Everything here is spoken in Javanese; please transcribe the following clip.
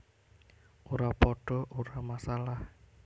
Ora padha ora masalah